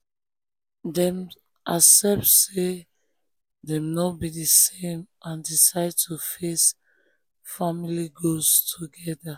grandma or grandpa give advice wey no take side to calm down di wahala between the children